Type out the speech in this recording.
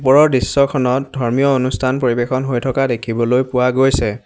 ওপৰৰ দৃশ্যখনত ধৰ্মীয় অনুষ্ঠান পৰিৱেশন হৈ থকা দেখিবলৈ পোৱা গৈছে।